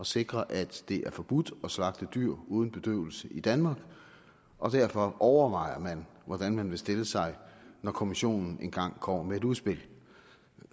sikre at det er forbudt at slagte dyr uden bedøvelse i danmark og derfor overvejer man hvordan man vil stille sig når kommissionen engang kommer med et udspil